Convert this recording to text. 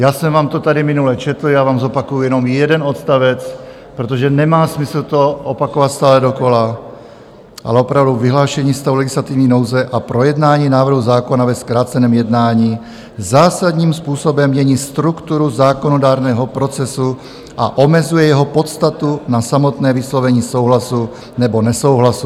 Já jsem vám to tady minule četl, já vám zopakuju jenom jeden odstavec, protože nemá smysl to opakovat stále dokola, ale opravdu "vyhlášení stavu legislativní nouze a projednání návrhu zákona ve zkráceném jednání zásadním způsobem mění strukturu zákonodárného procesu a omezuje jeho podstatu na samotné vyslovení souhlasu nebo nesouhlasu.